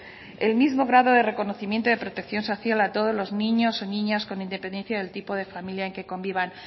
el mismo grado de reconocimiento de protección social a todos los niños o niñas con independencia del tipo de familia en que convivan